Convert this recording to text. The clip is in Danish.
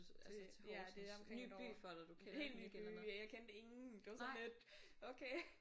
Det ja det er omkring et år. Helt ny by ja jeg kendte ingen det var sådan lidt okay